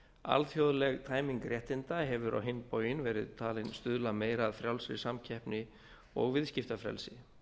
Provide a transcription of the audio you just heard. alþjóðleg tæming réttinda hefur á hinn bóginn verið talin stuðla meira að frjálsri samkeppni og viðskiptafrelsi